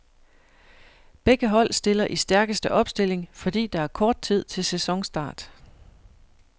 Begge hold stiller i stærkeste opstilling, fordi der er kort tid til sæsonstart.